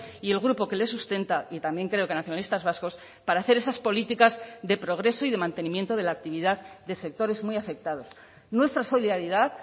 y el grupo que le sustenta y también creo que nacionalistas vascos para hacer esas políticas de progreso y de mantenimiento de la actividad de sectores muy afectados nuestra solidaridad